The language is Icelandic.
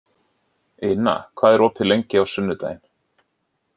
Ina, hvað er opið lengi á sunnudaginn?